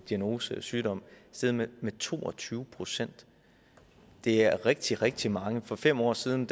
diagnosesygdom steget med to og tyve procent det er rigtig rigtig mange for fem år siden